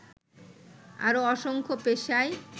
আরও অসংখ্য পেশায়